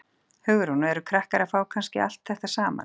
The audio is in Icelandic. Hugrún: Og eru krakkar að fá kannski allt þetta saman?